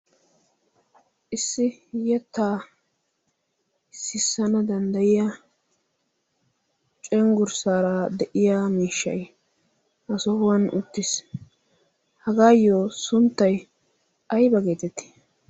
issi yettaa ississana danddayiya cenggurssaara de7iya miishshai ha sohuwan uttiis. hagaayyo sunttai ai bageetettii?